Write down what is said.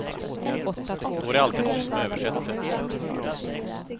Då är det alltid någon som översätter.